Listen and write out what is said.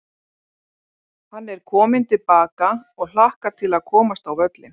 Hann er kominn til baka og hlakkar til að komast á völlinn.